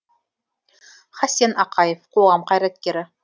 хасен ақаев қоғам қайраткері